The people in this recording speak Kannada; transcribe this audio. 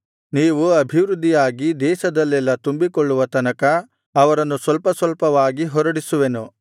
ನೀವು ಅಭಿವೃದ್ಧಿಯಾಗಿ ದೇಶದಲ್ಲೆಲ್ಲಾ ತುಂಬಿಕೊಳ್ಳುವ ತನಕ ಅವರನ್ನು ಸ್ವಲ್ಪ ಸ್ವಲ್ಪವಾಗಿ ಹೊರಡಿಸುವೆನು